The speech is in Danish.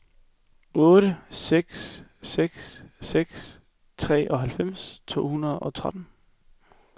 otte seks seks seks treoghalvfems to hundrede og tretten